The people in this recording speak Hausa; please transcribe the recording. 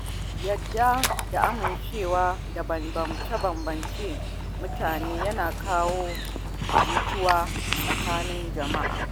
Yarda da amincewa da bambance-bambancen mutane yana kawo jituwa tsakanin jama'a.